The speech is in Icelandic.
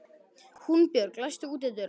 Húnbjörg, læstu útidyrunum.